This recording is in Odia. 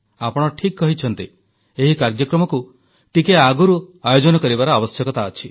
ଆପଣ ଠିକ୍ କହିଛନ୍ତି ଏହି କାର୍ଯ୍ୟକ୍ରମକୁ ଟିକେ ଆଗରୁ ଆୟୋଜନ କରିବାର ଆବଶ୍ୟକତା ଅଛି